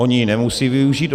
Oni ji nemusejí využít.